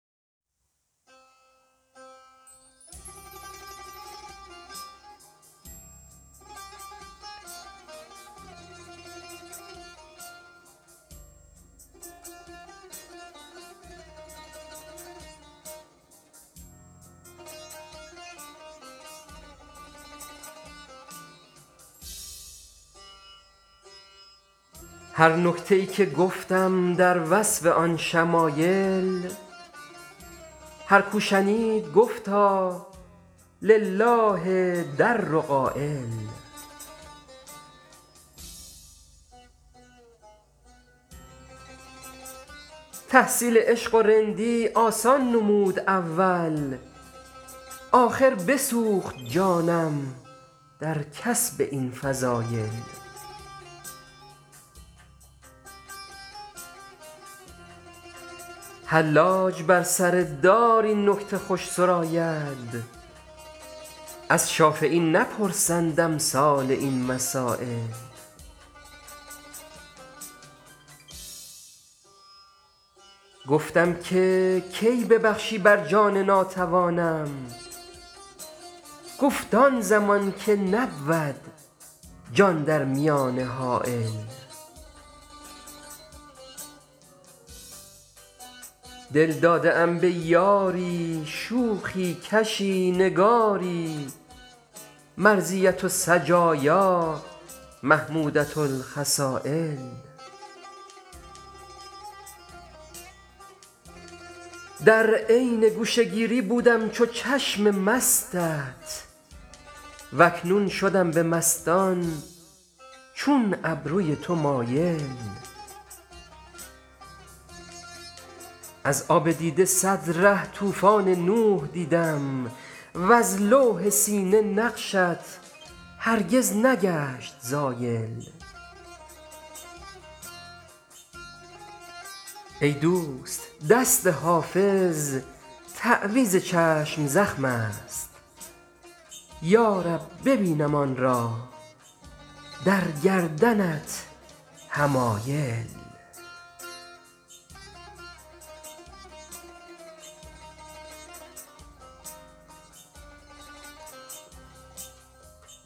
هر نکته ای که گفتم در وصف آن شمایل هر کو شنید گفتا لله در قایل تحصیل عشق و رندی آسان نمود اول آخر بسوخت جانم در کسب این فضایل حلاج بر سر دار این نکته خوش سراید از شافعی نپرسند امثال این مسایل گفتم که کی ببخشی بر جان ناتوانم گفت آن زمان که نبود جان در میانه حایل دل داده ام به یاری شوخی کشی نگاری مرضیة السجایا محمودة الخصایل در عین گوشه گیری بودم چو چشم مستت و اکنون شدم به مستان چون ابروی تو مایل از آب دیده صد ره طوفان نوح دیدم وز لوح سینه نقشت هرگز نگشت زایل ای دوست دست حافظ تعویذ چشم زخم است یا رب ببینم آن را در گردنت حمایل